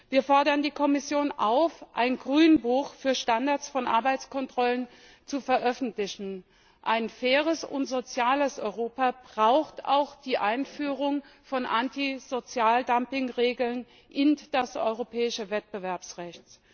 Wir fordern die Kommission auf, ein Grünbuch für Standards von Arbeitskontrollen zu veröffentlichen. Ein faires und soziales Europa braucht auch die Einführung von Anti Sozialdumping Regeln in das europäische Wettbewerbsrecht.